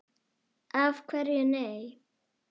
Af hverju nei?